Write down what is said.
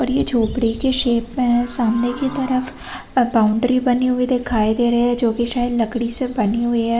और ये झोपड़ी के शेप में है। सामने की तरफ बाउंड्री बनी हुई दिखाई दे रही है जोकि शायद लकड़ी से बनी हुई है।